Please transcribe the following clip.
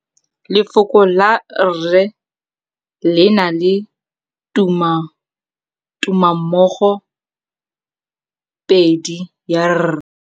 Lefoko la rre, le na le tumammogôpedi ya, r.